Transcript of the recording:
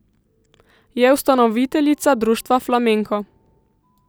Je ustanoviteljica društva Flamenko.